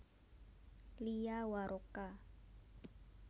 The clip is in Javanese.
Lia Waroka